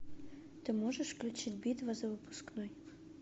ты можешь включить битва за выпускной